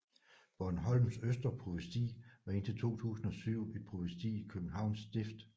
Bornholms Østre Provsti var indtil 2007 et provsti i Københavns Stift